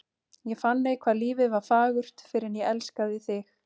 Ég fann ei hvað lífið var fagurt fyrr en ég elskaði þig.